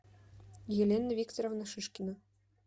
елена викторовна шишкина